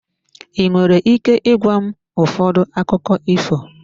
Ị nwere ike ịgwa m ụfọdụ akụkọ ifo?